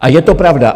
A je to pravda!